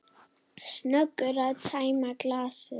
Snöggur að tæma glasið.